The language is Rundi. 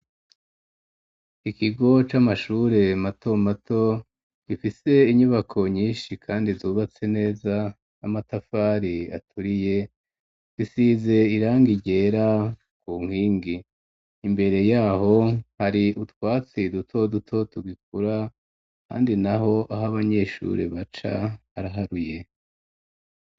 Ikigo c'amashure mato mato gifise inyubako nyinshi kandi zubatse neza n'amatafari aturiye gisize irangi ryera ku nkingi imbere yaho hari utwatsi duto duto tugikura kandi naho aho abanyeshure baca haraharuye.